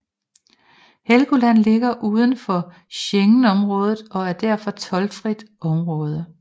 Helgoland ligger udenfor Schengenområdet og er derfor toldfrit område